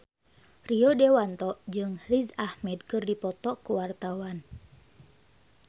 Rio Dewanto jeung Riz Ahmed keur dipoto ku wartawan